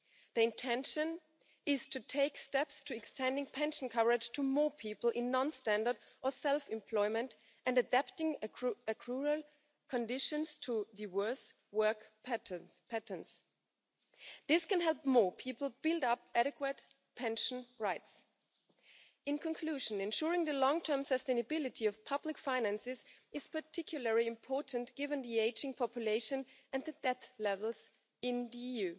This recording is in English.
The intention is to take steps to extend pension coverage to more people in non standard or self employment, and adapting accrual conditions to diverse work patterns. This can help more people build up adequate pension rights. In conclusion, ensuring the long term sustainability of public finances is particularly important, given the ageing population and the debt levels in the EU.